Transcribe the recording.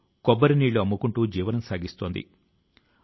దేశాని కి అప్పటికి ఇంకా స్వాతంత్ర్యం రాలేదు